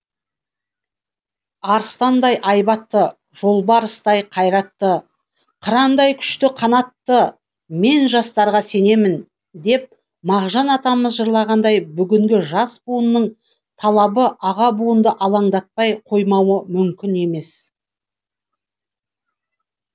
арыстандай айбатты жолбарыстай қайратты қырандай күшті қанатты мен жастарға сенемін деп мағжан атамыз жырлағандай бүгінгі жас буынның талабы аға буынды алаңдатпай қоймауы мүмкін емес